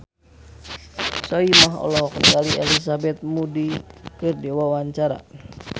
Soimah olohok ningali Elizabeth Moody keur diwawancara